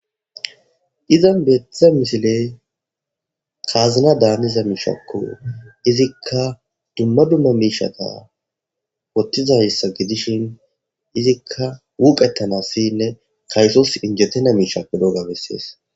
Izan beetiza misiley kaazina daaniza miishakko izikka dumma dumma miishata wottizayssa gidishin izikka wuqetanassiynne kaysos injetina miishakko dogga bessees